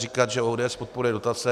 Říkat, že ODS podporuje dotace.